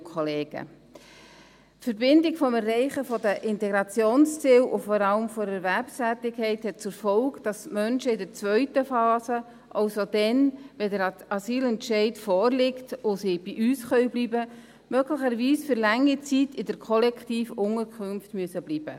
Die Verbindung des Erreichens der Integrationsziele und vor allem der Erwerbstätigkeit hat zur Folge, dass die Menschen in der zweiten Phase, also dann, wenn der Asylentscheid vorliegt und sie bei uns bleiben können, möglicherweise für lange Zeit in der Kollektivunterkunft bleiben müssen.